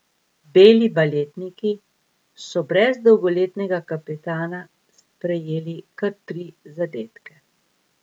Beli baletniki so brez dolgoletnega kapetana prejeli kar tri zadetke.